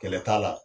Kɛlɛ t'a la